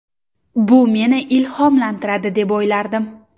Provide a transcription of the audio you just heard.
Bu meni ilhomlantiradi deb o‘ylardim.